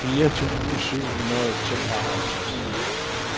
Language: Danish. firs tusind syv hundrede og tooghalvtreds